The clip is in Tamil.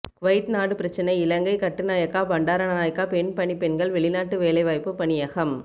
குவைட் நாடு பிரச்சினை இலங்கை கட்டுநாயக்க பண்டாரநாயக்க பெண் பணிப்பெண்கள் வெளிநாட்டு வேலைவாயப்பு பணியகம்